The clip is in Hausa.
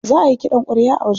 Za ayi ƙidan ƙwarya a wajen.